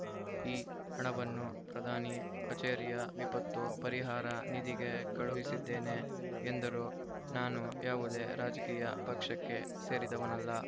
ಈ ಹಣವನ್ನು ಪ್ರಧಾನಿ ಕಚೇರಿಯ ವಿಪತ್ತು ಪರಿಹಾರ ನಿಧಿಗೆ ಕಳುಹಿಸಿದ್ದೇನೆ ಎಂದರು ನಾನು ಯಾವುದೇ ರಾಜಕೀಯ ಪಕ್ಷಕ್ಕೆ ಸೇರಿದವನಲ್ಲ